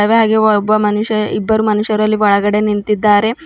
ಹಾಗೆ ಒಬ್ಬ ಮನುಷ್ಯ ಇಬ್ಬರು ಮನುಷ್ಯರು ಅಲ್ಲಿ ಒಳಗಡೆ ನಿಂತಿದ್ದಾರೆ.